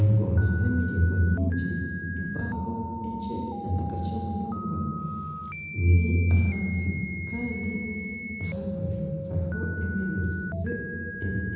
Engoma z'emiringo mingi empango nana akakye munonga biri ahansi kandi aha rubaju hariho,